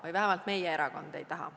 Või vähemalt meie erakond ei taha.